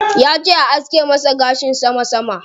Yace a aske masa gashin sama sama.